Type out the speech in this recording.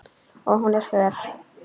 Og hún er föl.